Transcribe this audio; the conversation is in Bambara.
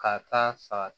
Ka taa sa